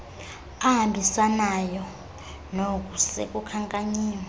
ahambisanayo nook sekukhankanyiwe